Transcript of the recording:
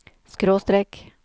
skråstrek